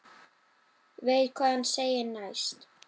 Veit hvað hann segir næst.